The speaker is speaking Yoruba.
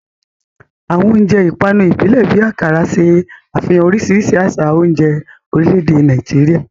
Àwọn oúnjẹ ìpanu ìbílẹ̀ bíi Akara ṣe àfihàn oríṣiríṣi àṣà oúnjẹ orílẹ̀-èdè Nàìjíríà.